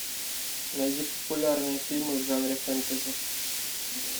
найди популярные фильмы в жанре фэнтези